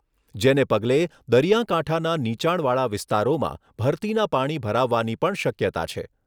જેને પગલે દરિયા કાંઠાના નીચાણવાળા વિસ્તારોમાં ભરતીના પાણી ભરાવાની પણ શક્યતા છે.